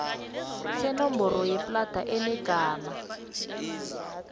senomboro yeplada enegama